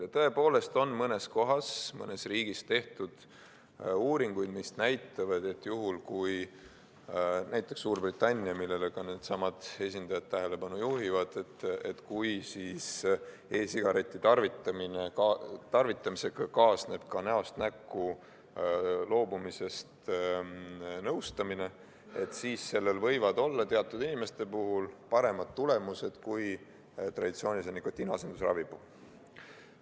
Ja tõepoolest on mõnes kohas, mõnes riigis – näiteks Suurbritannias, millele ka needsamad esindajad tähelepanu juhivad – tehtud uuringuid, mis näitavad, et kui e-sigareti tarvitamisega kaasneb ka näost näkku loobumisest nõustamine, siis sellel võivad olla teatud inimeste puhul paremad tulemused kui traditsioonilise nikotiiniasendusravi puhul.